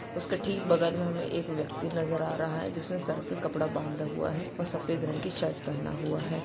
उसके ठीक बगल में हमें एक व्यक्ति नजर आ रहा है जिसने सर पे कपड़ा बाँदा हुआ है और सफ़ेद रंग की शर्ट पहना हुआ है।